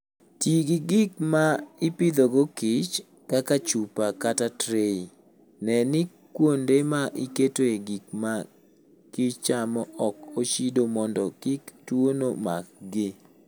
Ti gi gik ma ipidhogo kich, kaka chupa kata tray. Ne ni kuonde ma iketoe gik ma kich chamo ok ochido mondo kik tuono makgi.